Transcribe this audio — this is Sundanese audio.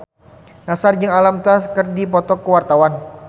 Nassar jeung Alam Tam keur dipoto ku wartawan